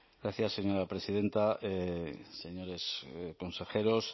gracias señora presidenta señores consejeros